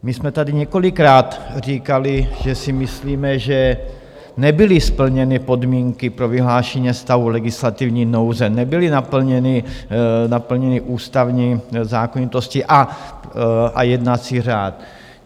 My jsme tady několikrát říkali, že si myslíme, že nebyly splněny podmínky pro vyhlášení stavu legislativní nouze, nebyly naplněny ústavní zákonitosti a jednací řád.